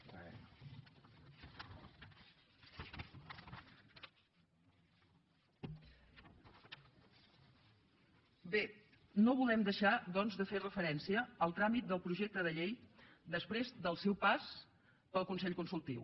bé no volem deixar doncs de fer referència al tràmit del projecte de llei després del seu pas pel consell consultiu